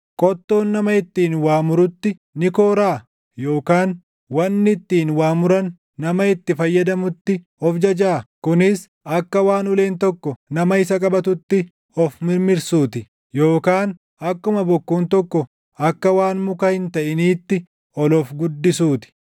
Qottoon nama ittiin waa murutti ni kooraa? Yookaan wanni ittiin waa muran nama itti fayyadamutti of jajaa? Kunis akka waan uleen tokko nama isa qabatutti of mirmirsuu ti; yookaan akkuma bokkuun tokko akka waan muka hin taʼiniitti ol of guddisuu ti!